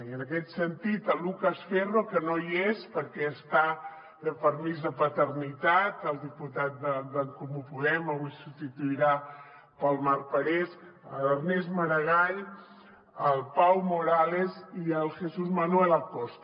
i en aquest sentit el lucas ferro que no hi és perquè està de permís de paternitat el diputat d’en comú podem avui el substituirà el marc parés l’ernest maragall el pau morales i el jesús manuel acosta